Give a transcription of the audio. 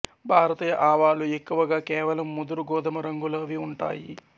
భారతీయ ఆవాలు ఎక్కువగా కేవలం ముదురు గోధుమ రంగులోవి ఉంటాయి